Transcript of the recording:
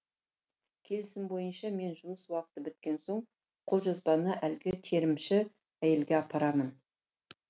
келісім бойынша мен жұмыс уақыты біткен соң қолжазбаны әлгі терімші әйелге апарамын